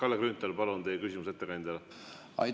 Kalle Grünthal, palun, teie küsimus ettekandjale!